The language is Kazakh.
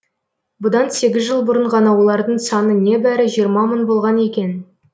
бұдан сегіз жыл бұрын ғана олардың саны небәрі жиырма мың болған екен